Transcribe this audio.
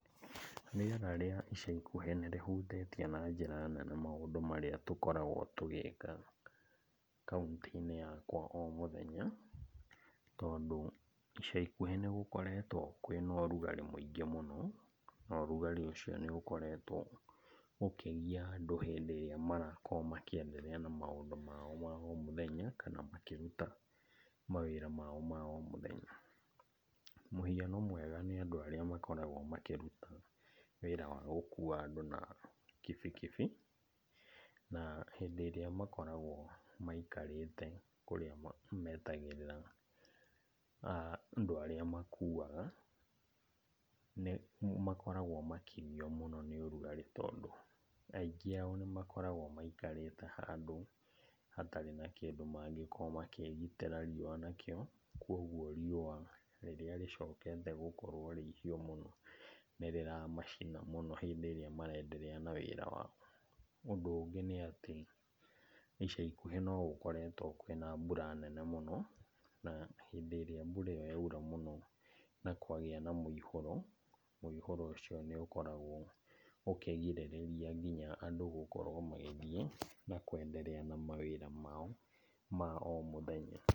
Rĩera rĩa ica ikuhĩ nĩrĩhutĩtie na njĩra nene maũndũ marĩa tũkoragwo tũgĩka, kauntĩ-inĩ yakwa o mũthenya. Tondũ ica ikuhĩ nĩgũkoretwo kwĩ na ũrugarĩ mũingĩ mũno, na ũrugarĩ ũcio nĩũkoretwo ũkĩgia andũ hĩndĩ ĩrĩa marakorwo makĩenderea na maũndũ mao ma o mũthenya, kana makĩruta mawĩra mao ma o mũthenya. Mũhiano mwega nĩ andũ arĩa makoragwo makĩruta wĩra wa gũkua andũ na kibikibi, na hĩndĩ ĩrĩa makoragwo maikarĩte kũrĩa metagĩrĩra andũ arĩa makuaga, nĩmakoragwo makĩgio mũno nĩ ũrugarĩ tondũ aingĩ ao nĩmakoragwo maikarĩte handũ hatarĩ na kĩndũ mangĩkorwo makĩĩgitĩra riũa nakĩo. Koguo riũa rĩrĩra rĩcokete gũkorwo rĩ ihiũ mũno nĩrĩramacina mũno rĩrĩa marenderea na wĩra wao. Ũndũ ũngĩ nĩatĩ, ica ikuhĩ nogũkoretwo kwĩ na mbura nene mũno, na hĩndĩ ĩrĩa mbura ĩo yaura mũno na kwagĩa na mũihũro, mũihũro ũcio nĩũkoragwo ũkĩgirĩrĩria nginya andũ gũkorwo magĩthiĩ na kwenderea na mawĩra mao ma o mũthenya.